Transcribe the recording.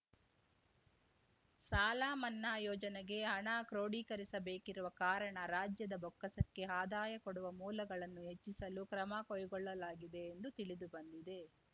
ಸಾಲಮನ್ನಾ ಯೋಜನೆಗೆ ಹಣ ಕ್ರೋಢೀಕರಿಸಬೇಕಿರುವ ಕಾರಣ ರಾಜ್ಯದ ಬೊಕ್ಕಸಕ್ಕೆ ಆದಾಯ ಕೊಡುವ ಮೂಲಗಳನ್ನು ಹೆಚ್ಚಿಸಲು ಕ್ರಮ ಕೈಗೊಳ್ಳಲಾಗಿದೆ ಎಂದು ತಿಳಿದುಬಂದಿದೆ